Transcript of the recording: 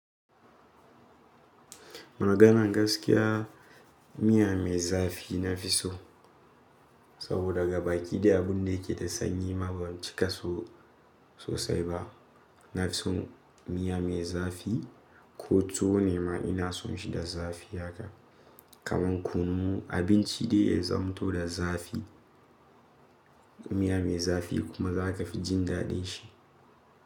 Maganan gaskiya, miya mai zafi na fi so. Saboda gaba ɗaya abun da yake da sanyi ma ban cika so sosai ba. Na fi son miya mai zafi ko tuwo ne ma ina son shi da zafi haka. Kaman kunu abinci dai ya zamto da zafi. Miya mai zafi kuma za ka fi jin daɗin shi.